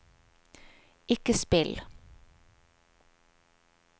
ikke spill